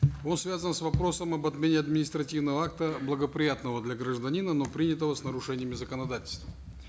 он связан с вопросом об отмене административного акта благоприятного для гражданина но принятого с нарушениями законодательства